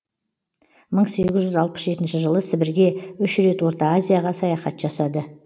мың сегіз жүз алпыс жетінші жылы сібірге үш рет орта азияға саяхат жасады